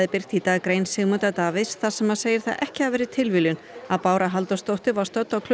birti í dag grein Sigmundar Davíðs þar sem hann segir það ekki hafa verið tilviljun að Bára Halldórsdóttir var stödd á